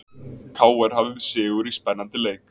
KR hafði sigur í spennandi leik